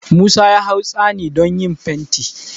Musa ya hau tsami don yin fenti